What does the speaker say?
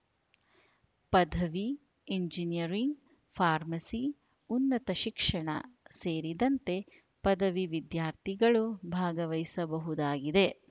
ಪದವಿ engineering pharmacy ಉನ್ನತ ಶಿಕ್ಷಣ ಸೇರಿದಂತೆ ಪದವಿ ವಿದ್ಯಾರ್ಥಿಗಳು ಭಾಗವಹಿಸಬಹುದಾಗಿದೆ